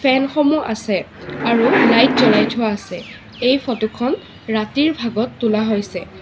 ফেন সমূহ আছে আৰু লাইট জ্বলাই থোৱা আছে এই ফটো খন ৰাতিৰ ভাগত তোলা হৈছে।